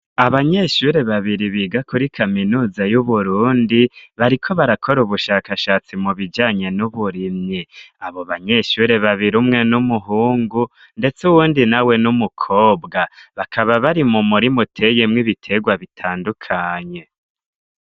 Abanyeshure babiri biga kuri kaminuza y'Uburundi, bariko barakora ubushakashatsi mu bijanye n'uburimyi. Abo banyeshure babiri umwe n'umuhungu, ndetse uwundi nawe n'umukobwa. Bakaba bari mu murima uteyemw ibitegwa bitandukanye.